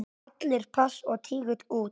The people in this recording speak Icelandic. Allir pass og tígull út!